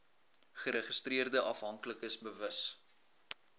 geregistreerde afhanklikes bewus